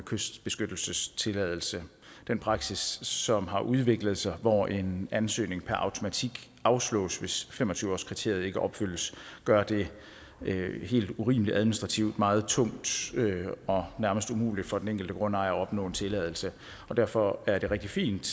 kystbeskyttelsestilladelse den praksis som har udviklet sig hvor en ansøgning per automatik afslås hvis fem og tyve årskriteriet ikke opfyldes gør det helt urimeligt og administrativt meget tungt og nærmest umuligt for den enkelte grundejer at opnå en tilladelse og derfor er det rigtig fint